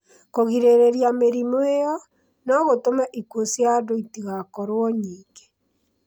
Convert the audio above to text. Kũgirĩrĩria mĩrimũ ĩyo no gũtũme ikuũ cia andũ itigakorũo nyingĩ